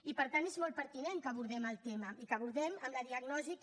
i per tant és molt pertinent que abordem el tema i que l’abordem amb la diagnosi que